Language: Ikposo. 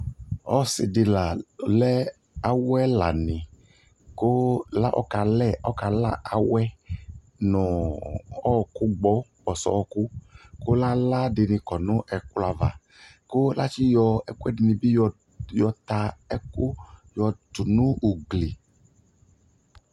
ɔsii di la lɛ awɛ ɛlani kʋ akɔ la awɛ nʋ ɔkʋ gbɔ, kpɔsɔ ɔkʋ kʋ ala dini kɔnʋ ɛkplɔ aɣa kʋ atsi yɔ ɛkuɛdini bi yɔ ta ɛkʋ yɔtʋ nʋ ʋgli